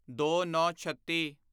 ਦੋਨੌਂਛੱਤੀ